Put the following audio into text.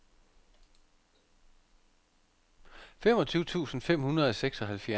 femogtyve tusind fem hundrede og seksoghalvfjerds